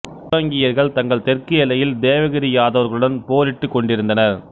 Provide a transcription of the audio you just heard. சோலங்கியர்கள் தங்கள் தெற்கு எல்லையில் தேவகிரி யாதவர்களுடன் போரிட்டுக் கொண்டிருந்தனர்